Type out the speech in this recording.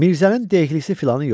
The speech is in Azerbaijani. Mirzənin dehlisi filanı yox idi.